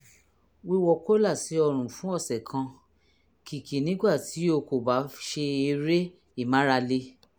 wíwọ kólà sí ọrùn fún ọ̀sẹ̀ kan kìkì nígbà tí o kò bá ṣe eré ìmárale